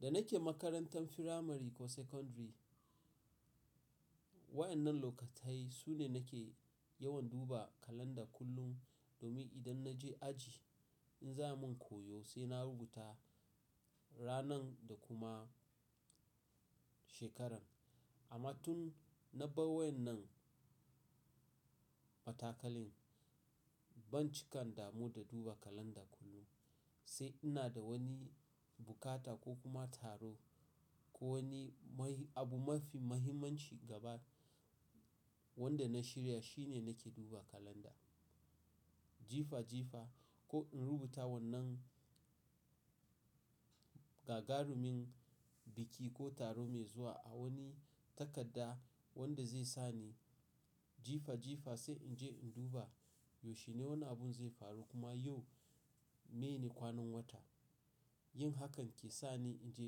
Da nake makarantan firamare ko sakandare, waɗannan lokatai su ne nake yawan duba kalanda kullum domin idan na je aji in za mu a koyo sai na rubuta ranan da kuma shekarar. Amma tun na ba wayenan matakali ban cika in damu da duba kalanda kullum. Sai inna da wani bukata ko kuma taro ko wani abu mafi mahimmanci gaba wanda na shirya shine nake duba kalanda jifa jifa ko in rubuta wannan ga ga rumin biki ko taro me zuwa a wani takadda wanda zai sani jifa jifa sai in je in duba yaushe ne wani abu zai faru kuma yau meyene kwanan watan? Yin hakan ke sa ni in je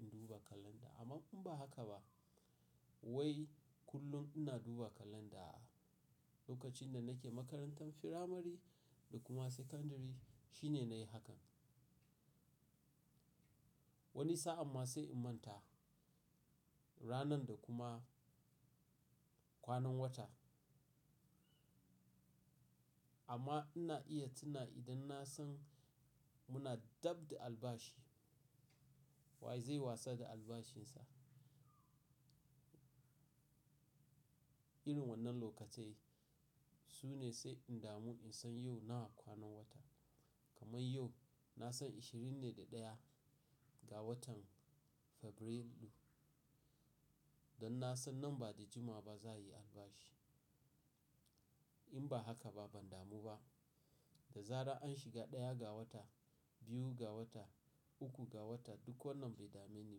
in duba kalanda. Amma in ba haka ba wai kullum ina duba kalenda aa lokacin da ina makarantar firamare ko sekandiri shine nayi hakan wani saan ma sai in manta ranar dakuma kwanan watan amma ina iya tuna idan na san muna dab da albashi. Wa zai wasa da albashinsa. Irin wannan lokaci su ne sai in damu in san yau nawa kwanan wata. Kaman yau na san 21 ga watan Fabrairu. Dan na san nan ba da jimawa ba za yi albashi. In ba haka ba ban damu ba. Da zarar an shiga ɗaya ga wata, biyu ga wata, uku ga wata duk wannan bai dame ni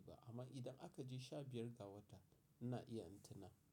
ba. Amma idan akaje 15 ga wata ina iya in tuna.